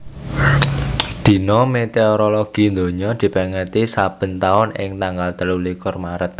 Dina Météorologi Donya dipèngeti saben taun ing tanggal telulikur Maret